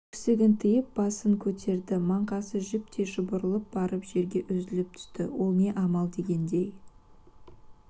өксігін тиып басын көтерді маңқасы жіптей шұбатылып барып жерге үзіліп түсті ол не амал дегендей